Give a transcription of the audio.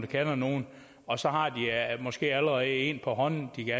kender nogen og så har de måske allerede en på hånden de kan